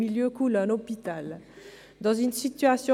Danke für den Besuch!